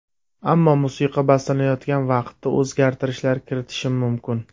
Ammo musiqa bastalanayotgan vaqtda o‘zgartirishlar kiritishim mumkin.